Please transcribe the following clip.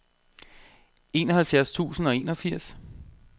enoghalvfjerds tusind og enogfirs